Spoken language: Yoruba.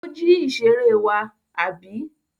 Ó jí ìṣeré wa, àbí?